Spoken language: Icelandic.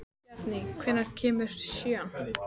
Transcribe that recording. Bjarný, hvenær kemur sjöan?